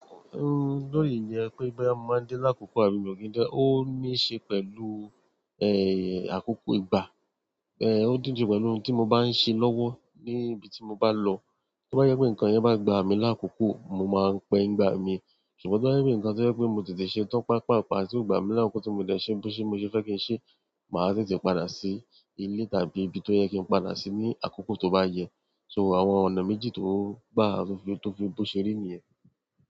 Lórí ìyẹn pé boya mo máa ń dé lákòókò àbí mo ki n dé, ó ní ṣe pẹ̀lú, àkókò ìgbà. Ó dídi pẹ̀lú ohun tí mo bá ń ṣe lọ́wọ́ níbi tí mo bá lọ. Tí ó bá yẹ pé nǹkan yẹn bá gba mi lákòókò, mo máa ń pẹ́ nìgbà mi. Ṣùgbọ́n tí ó bá yẹ pé nǹkan tí ó yẹ pé mo ti lè ṣe tán pàápàápaa ti o gba mi lákòókò tí mo dẹ́ ṣẹ̀ bó ṣe mo fẹ́ kí n ṣe, màá tètè padà sí ilé tàbí ibi tó yẹ kí n padà sí ní àkókò tó bá yẹ. So àwọn ọ̀nà méjì tó gbá, tó fi, tó fi bó ṣe rí nìyẹn.